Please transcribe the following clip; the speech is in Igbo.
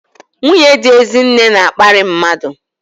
Nwunye dị Ezinne na-akparị mmadụ.